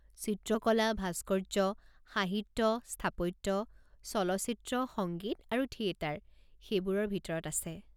চিত্ৰকলা, ভাস্কৰ্য, সাহিত্য, স্থাপত্য, চলচ্চিত্ৰ, সংগীত আৰু থিয়েটাৰ সেইবোৰৰ ভিতৰত আছে।